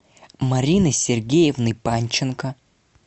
марины сергеевны панченко